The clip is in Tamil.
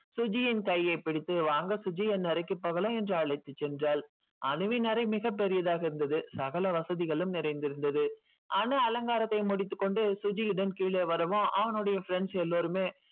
சுஜியின் கையை பிடித்து வாங்க சுஜி என் அறைக்கு போகலாம் என்று அழைத்து சென்றாள். அனுவின் அரை மிக பெரிதாக இருந்தது சகல வசதிகளும் நிறைந்து இருந்தது அனு அலங்காரத்தை முடித்து கொண்டு சுஜியுடன் கீழே வரவோ அவனோடைய friends எல்லோருமே